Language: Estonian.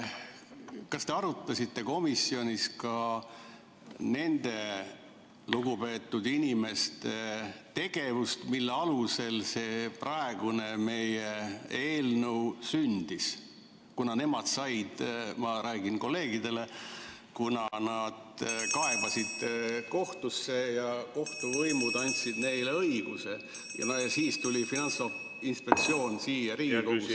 Kas te arutasite komisjonis ka nende lugupeetud inimeste tegevust, mille alusel see praegune eelnõu sündis, kuna nemad – ma räägin kolleegidele ...– kaebasid kohtusse ja kohtuvõimud andsid neile õiguse ja siis tuli Finantsinspektsioon siia Riigikogusse ...